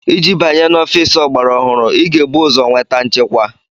Iji banye n'ọfịs ọgbara ọhụrụ, ị ga-ebu ụzọ nweta nchekwa.